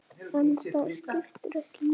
En það skiptir ekki máli.